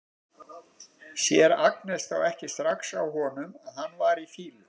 Sér Agnes þá ekki strax á honum að hann var í fýlu?